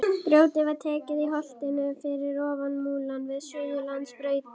Grjótið var tekið í holtinu fyrir ofan Múla við Suðurlandsbraut.